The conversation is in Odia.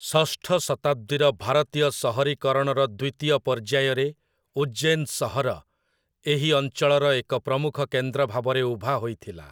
ଷଷ୍ଠ ଶତାବ୍ଦୀର ଭାରତୀୟ ସହରୀକରଣର ଦ୍ୱିତୀୟ ପର୍ଯ୍ୟାୟରେ ଉଜ୍ଜୈନ ସହର ଏହି ଅଞ୍ଚଳର ଏକ ପ୍ରମୁଖ କେନ୍ଦ୍ର ଭାବରେ ଉଭା ହୋଇଥିଲା ।